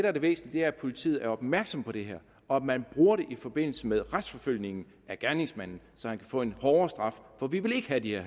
at det væsentlige er at politiet er opmærksomme på det her og at man bruger det i forbindelse med retsforfølgningen af gerningsmanden så han kan få en hårdere straf for vi vil ikke have de